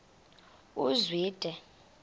uzwide